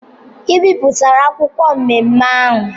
I bipụtara akwụkwọ nmenme ahụ!